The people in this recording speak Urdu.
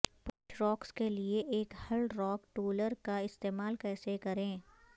پولش راکس کے لئے ایک ہل راک ٹولر کا استعمال کیسے کریں